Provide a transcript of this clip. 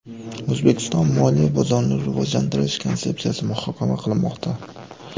O‘zbekiston Moliya bozorini rivojlantirish konsepsiyasi muhokama qilinmoqda.